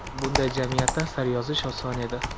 bunday jamiyatda asar yozish oson edi.